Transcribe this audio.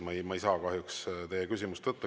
Ma ei saa kahjuks teile küsimise võimalust anda.